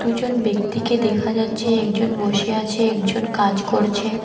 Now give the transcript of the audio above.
একজন ব্যক্তিকে দেখা যাচ্ছে একজন বসে আছে একজন কাজ করছে।